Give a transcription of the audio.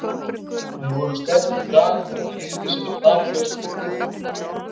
Við vorum sterkir í dag á móti liði sem er taplaust fyrir leikinn.